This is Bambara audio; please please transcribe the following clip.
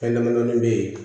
Fɛn dama damani bɛ yen